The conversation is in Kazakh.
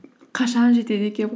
қашан жетеді екенмін